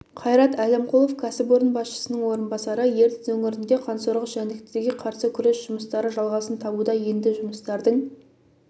қайрат әлімқұлов кәсіпорын басшысының орынбасары ертіс өңірінде қансорғыш жәндіктерге қарсы күрес жұмыстары жалғасын табуда енді жұмыстардың